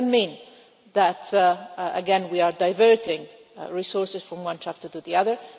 This does not mean that again we are diverting resources from one chapter to the other.